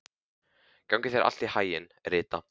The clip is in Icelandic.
Gangi þér allt í haginn, Rita.